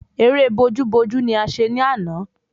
Ẹrẹ́ bojú bojú ni a ṣe ní àná